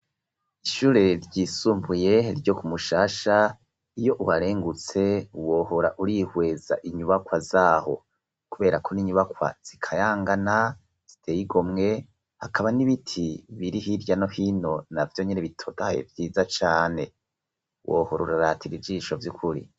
Ishure ryisumbuye ryo kumushasha iyo uharengutse wohora urihweza inyubakwa zaho kubera ko n'inyubakwa zikayangana ziteye igomwe hakaba n'ibiti biri hirya no hino navyo nyene bitotahaye vyiza cane wohora uraratira ijisho vy'ukuri.